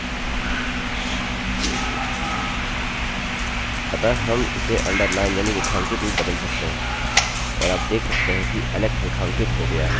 अतः हम इसे underline यानि रेखांकित में बदल सकते हैं और आप देख सकते हैं कि alex रेखांकित हो गया है